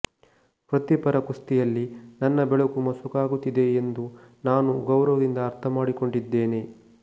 ವೃತ್ತಿಪರ ಕುಸ್ತಿಯಲ್ಲಿ ನನ್ನ ಬೆಳಕು ಮಸಕಾಗುತ್ತಿದೆ ಎಂದು ನಾನು ಗೌರವದಿಂದ ಅರ್ಥಮಾಡಿಕೊಂಡಿದ್ದೇನೆ